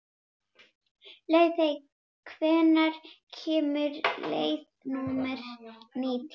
Laufey, hvenær kemur leið númer nítján?